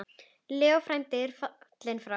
Leó frændi er fallinn frá.